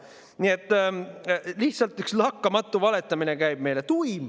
Nii et lihtsalt käib üks lakkamatu valetamine meile.